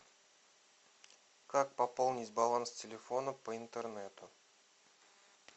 как пополнить баланс телефона по интернету